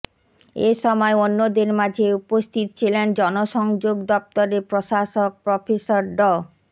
এ সময় অন্যদের মাঝে উপস্থিত ছিলেন জনসংযোগ দপ্তরের প্রশাসক প্রফেসর ড